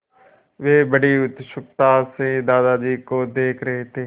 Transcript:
वे बड़ी उत्सुकता से दादाजी को देख रहे थे